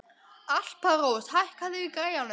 Alparós, hækkaðu í græjunum.